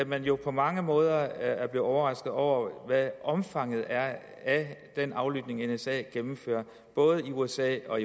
man jo på mange måder er blevet overrasket over hvad omfanget er af den aflytning nsa gennemfører både i usa og